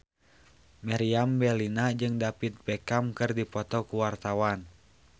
Meriam Bellina jeung David Beckham keur dipoto ku wartawan